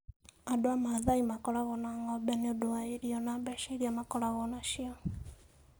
Andũ a Masai makoragwo na ng'ombe nĩ ũndũ wa irio na mbeca iria makoragwo nacio.